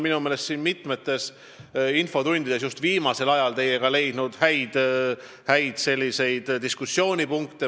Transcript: Me oleme siin mitmes infotunnis just viimasel ajal leidnud koos teiega minu meelest häid diskussiooniteemasid.